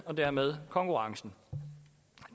og dermed konkurrencen